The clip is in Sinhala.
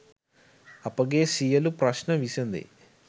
අපගේ සියළු ප්‍රශ්ණ විසදේ